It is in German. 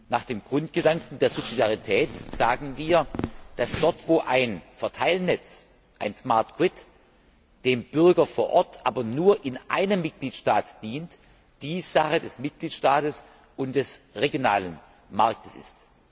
Nach dem Grundgedanken der Subsidiarität sagen wir, dass dort, wo ein Verteilnetz ein smart grid dem Bürger vor Ort aber nur in einem Mitgliedstaat dient, dies Sache des Mitgliedstaats und des regionalen Marktes ist.